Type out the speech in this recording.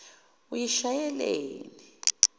uyishayeleni